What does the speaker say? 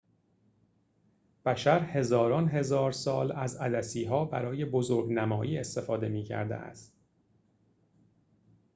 بشر هزاران هزار سال از عدسی‌ها برای بزرگ‌نمایی استفاده می‌کرده است